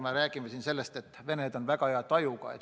Me oleme siin rääkinud, et Venemaa on väga hea tajuga.